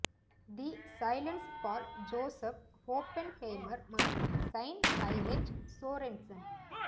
the silence for Joseph Oppenheimer மற்றும் Sine Byrge Sorensen